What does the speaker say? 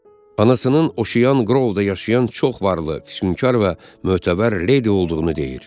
Anasının oşiyan qrovda yaşayan çox varlı, fişunkar və mötəbər leydi olduğunu deyir.